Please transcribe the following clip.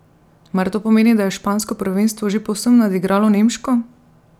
Mar to pomeni, da je špansko prvenstvo že povsem nadigralo nemško?